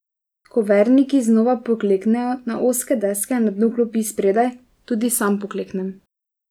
Ko verniki znova pokleknejo na ozke deske na dnu klopi spredaj, tudi sam pokleknem.